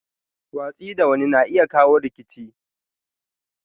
Watsi da wani na iya kawo rikici.